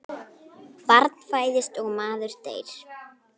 Barn fæðist og maður deyr.